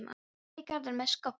Ég fer í garðinn með skóflu.